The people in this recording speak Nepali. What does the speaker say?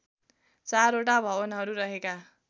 चारवटा भवनहरू रहेका